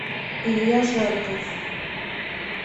илья жарков